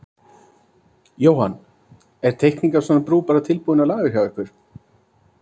Jóhann: Er teikning af svona brú bara tilbúin á lager hjá ykkur?